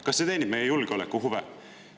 Kas see teenib meie julgeolekuhuve?